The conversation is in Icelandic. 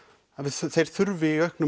þeir þurfi í auknum